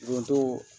Donso